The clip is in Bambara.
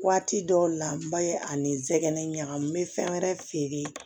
Waati dɔw la n ba ye ani nsɛgɛn ɲagami n bɛ fɛn wɛrɛ feere